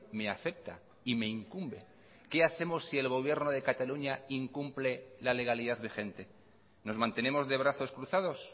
me afecta y me incumbe qué hacemos si el gobierno de cataluña incumple la legalidad vigente nos mantenemos de brazos cruzados